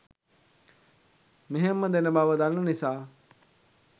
මෙහෙම්ම දෙන බව දන්න නිසා